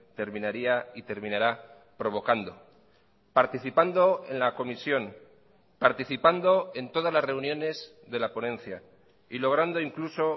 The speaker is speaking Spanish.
terminaría y terminará provocando participando en la comisión participando en todas las reuniones de la ponencia y logrando incluso